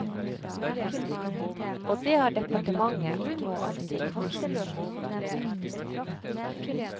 Og det har departementet nå altså gjort.